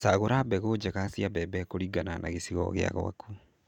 Cagũra mbegũ njega cia mbembe kũringana na gĩcigo gĩa gwaku.